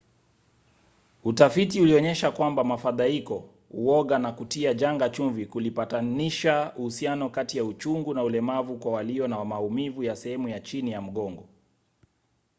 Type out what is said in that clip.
utafiti ulionyesha kwamba mafadhaiko uoga na kutia janga chumvi kulipatanisha uhusiano kati ya uchungu na ulemavu kwa walio na maumivu ya sehemu ya chini ya mgongo